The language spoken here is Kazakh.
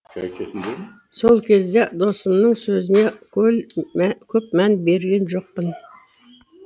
сол кезде досымның сөзіне көп мән берген жоқпын